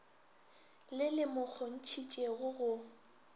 le le mo kgontšhitšego go